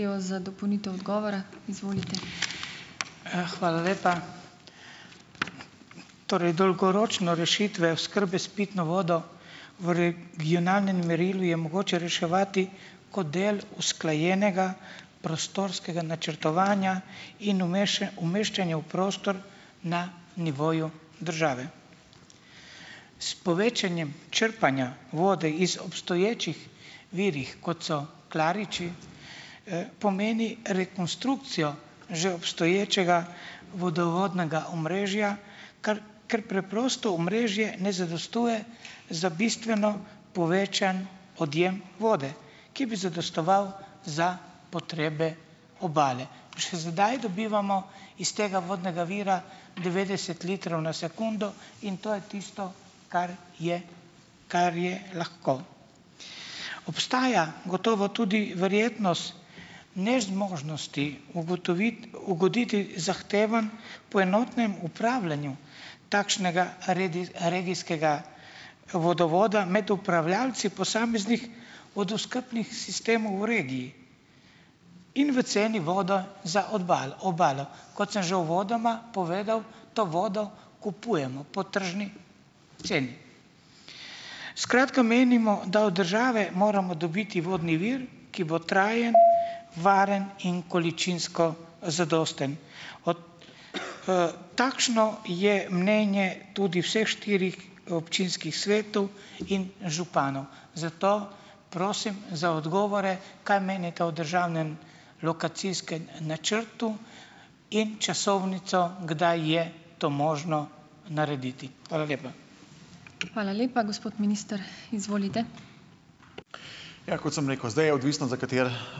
za dopolnitev odgovora, izvolite . hvala lepa . Torej, dolgoročno rešitve oskrbe s pitno vodo v reg- gijonalnem merilu je mogoče reševati kot del usklajenega prostorskega načrtovanja in umeščanja v prostor na nivoju države. S povečanjem črpanja vode iz obstoječih virov, kot so Klariči, pomeni rekonstrukcijo že obstoječega vodovodnega omrežja, ker preprosto omrežje ne zadostuje za bistveno povečan odjem vode, ki bi zadostoval za potrebe obale. Še sedaj dobivamo iz tega vodnega vira devetdeset litrov na sekundo in to je tisto, kar je, kar je lahko. Obstaja gotovo tudi verjetnost nezmožnosti ugoditi zahtevam po enotnem upravljanju takšnega regijskega vodovoda med upravljavci posameznih vodooskrbnih sistemov v regiji. In v ceni voda za obalo. Kot sem že uvodoma povedal, to vodo kupujemo po tržni ceni. Skratka, menimo, da od države moramo dobiti vodni vir, ki bo trajen , varen in količinsko, zadosten. Od, takšno je mnenje tudi vseh štirih, občinskih svetov in županov. Zato prosim za odgovore, kaj menite o državnem lokacijskem načrtu, in časovnico, kdaj je to možno narediti. Hvala lepa. Hvala lepa. Gospod minister, izvolite. Ja, kot sem rekel, zdaj je odvisno za kateri ...